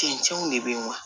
Cɛncɛnw de be yen wa